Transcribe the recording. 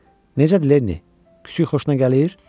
Necədir Lenni, küçüy xoşuna gəlir?